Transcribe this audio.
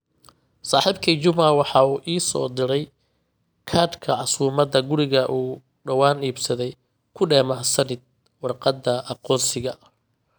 saaxiibkay juma waxa uu ii soo diray kaadhka casumaadda gurigii uu dhawaan iibsaday ku dheh mahadsanid warqadda aqoonsiga.